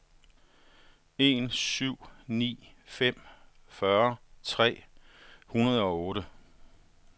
en syv ni fem fyrre tre hundrede og otte